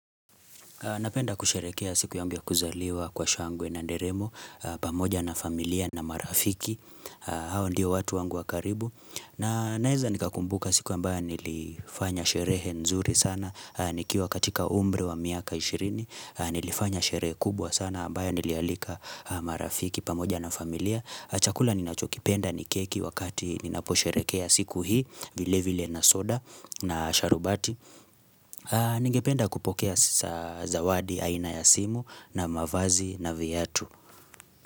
Napenda kusherekea siku yangu ya kuzaliwa kwa shangwe na nderemo, pamoja na familia na marafiki, hao ndio watu wangu wa karibu. Na naweza nikakumbuka siku ambayo nilifanya sherehe nzuri sana, nikiwa katika umri wa miaka ishirini, nilifanya sherehe kubwa sana ambayo nilialika marafiki pamoja na familia. Chakula ninachokipenda ni keki wakati ninaposherekea siku hii, vile vile na soda na sharubati. Ningependa kupokea zawadi aina ya simu na mavazi na viatu.